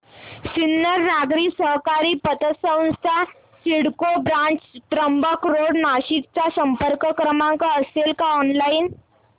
सिन्नर नागरी सहकारी पतसंस्था सिडको ब्रांच त्र्यंबक रोड नाशिक चा संपर्क क्रमांक असेल का ऑनलाइन